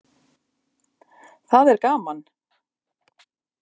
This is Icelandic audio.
Það er gaman.